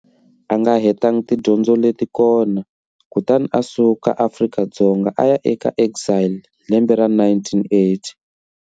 A nga hetangi tidyondzo leti kona, kutani a suka Afrika-Dzonga a ya eka exile hi lembe ra 1980.